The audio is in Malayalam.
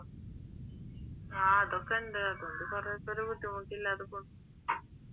ആഹ് അതൊക്കെയുണ്ട് അതുകൊണ്ട് കൊറേപ്പേർ ബുദ്ധിമുട്ട് ഇല്ലാതെ പോണ്